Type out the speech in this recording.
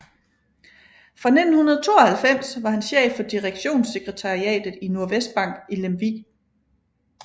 Fra 1992 var han chef for direktionssekretariatet i Nordvestbank i Lemvig